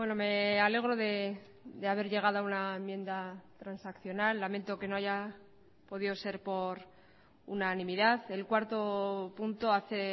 me alegro de haber llegado a una enmienda transaccional lamento que no haya podido ser por unanimidad el cuarto punto hace